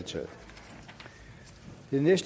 mener jeg